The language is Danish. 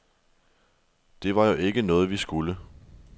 Det var jo ikke noget, vi skulle.